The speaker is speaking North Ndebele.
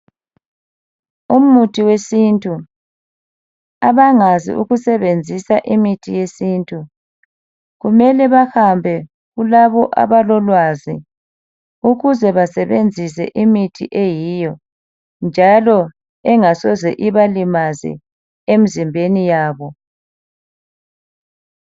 Umuthi wesintu, abangazi ukusebenzisa imithi yesintu kumele bahambe kulabo abalolwazi ukuze basebenzise imithi eyiyo njalo engasoze ibalimaze emzimbeni yabo.